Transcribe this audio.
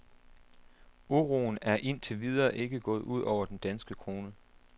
Uroen er ind til videre ikke gået ud over den danske krone.